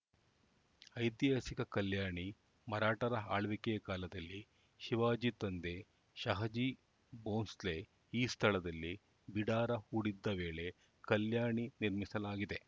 ಐತಿಹಾಸಿಕ ಕಲ್ಯಾಣಿ ಮರಾಠರ ಆಳ್ವಿಕೆಯ ಕಾಲದಲ್ಲಿ ಶಿವಾಜಿ ತಂದೆ ಶಹಜೀ ಬೋಂಸ್ಲೆ ಈ ಸ್ಥಳದಲ್ಲಿ ಬಿಡಾರ ಹೂಡಿದ್ದ ವೇಳೆ ಕಲ್ಯಾಣಿ ನಿರ್ಮಿಸಲಾಗಿದೆ